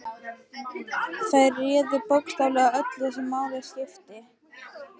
Þær réðu bókstaflega öllu sem máli skipti.